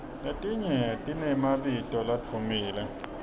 letinye tinemabito ladvumile